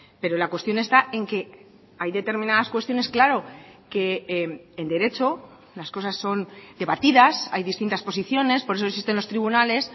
pero la cuestión está en que hay determinadas cuestiones claro que en derecho las cosas son debatidas hay distintas posiciones por eso existen los tribunales